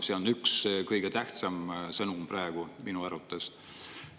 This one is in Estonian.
See on üks kõige tähtsam sõnum praegu minu arvates.